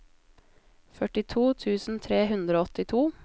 førtito tusen tre hundre og åttito